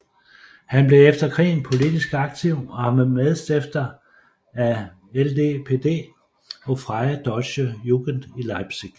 Han blev efter krigen politisk aktiv og var medstifter af LDPD og Freie Deutsche Jugend i Leipzig